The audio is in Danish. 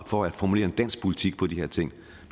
for at formulere en dansk politik på de her ting